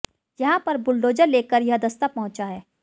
यहां पर बुलडोजर लेकर यह दस्ता पहुंचा है